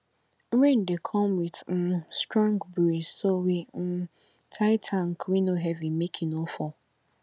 rain dey come with um strong breeze so we um tie tank wey no heavy make e no fall